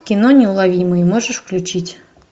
кино неуловимые можешь включить